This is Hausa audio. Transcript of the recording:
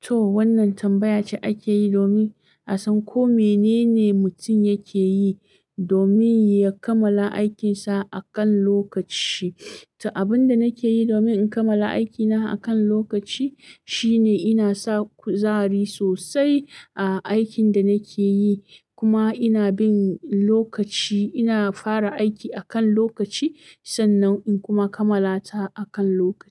To wannan tambaya ce ake yi domin a san ko menene mutum yake yi domin ya kamala aikin sa akan lokaci. To abinda nake yi domin in kammala aiki na akan lokaci shine ina sa kuzari sosai a aikin da nake yi. Kuma ina bin lokaci, ina fara aiki a kan lokaci sannan in kuma kammala ta a kan lokaci.